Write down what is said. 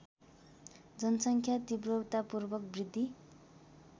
जनसङ्ख्या तीव्रतापूर्वक वृद्धि